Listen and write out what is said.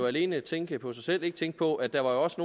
alene tænke på sig selv og ikke tænke på at der også